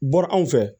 Bɔra anw fɛ